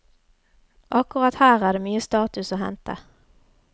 Akkurat her er det mye status å hente.